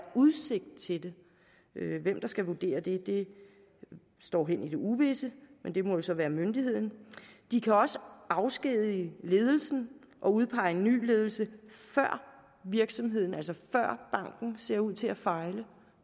udsigt til det hvem der skal vurdere det står hen i det uvisse men det må jo så være myndigheden de kan også afskedige ledelsen og udpege en ny ledelse før virksomheden altså banken ser ud til at fejle